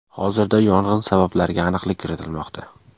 Hozirda yong‘in sabablariga aniqlik kiritilmoqda.